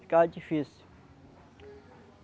Ficava difícil.